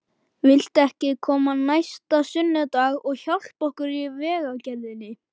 Viltu ekki koma næsta sunnudag og hjálpa okkur í vegagerðinni?